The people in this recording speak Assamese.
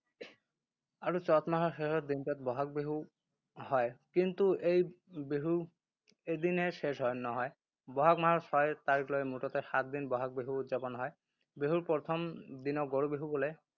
আৰু চ’ত মাহৰ শেষৰ দিনটোত বহাগ বিহু হয়। কিন্তু এই বিহু এদিনেই শেষ হয়, নহয়। বহাগ মাহৰ ছয় তাৰিখলৈ মুঠতে সাত দিন বহাগ বিহু উদ্‌যাপন হয়। বিহুৰ প্ৰথম দিনক গৰু বিহু বোলে।